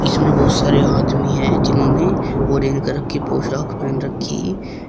इसमें बहुत सारे आदमी है जिन्होंने ऑरेंज कलर की पोशाक पहन रखी है।